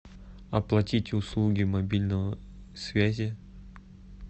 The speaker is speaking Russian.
оплатить услуги мобильного связи